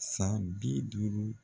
San bi duuru